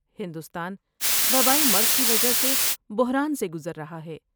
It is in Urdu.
ہندوستان وبائی مرض کی وجہ سے بحران سے گزر رہا ہے۔